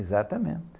Exatamente.